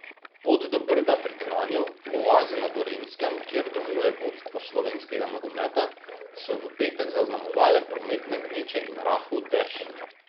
Pot do Brda pri Kranju, oaze na Gorenjskem, kjer domuje vodstvo slovenskega nogometa, so v petek zaznamovale prometne gneče in rahel dež.